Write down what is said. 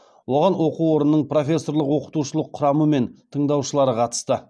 оған оқу орнының профессорлық оқытушылық құрамы мен тыңдаушылары қатысты